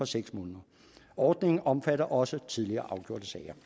seks måneder ordningen omfatter også tidligere afgjorte sager